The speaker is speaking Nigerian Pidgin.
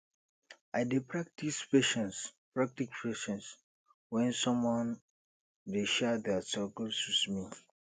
i dey practice patience practice patience when someone dey share their struggles with me